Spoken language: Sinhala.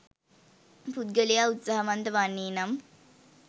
පුද්ගලයා උත්සාහවන්ත වන්නේ නම්